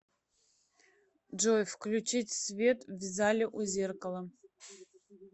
джой включить свет в зале у зеркала